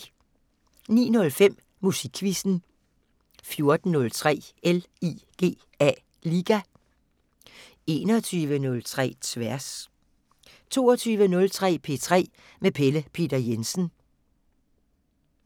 09:05: Musikquizzen 14:03: LIGA 21:03: Tværs 22:03: P3 med Pelle Peter Jensen